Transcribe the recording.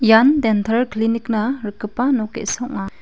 ian dental clinic-na rikgipa nok ge·sa ong·a.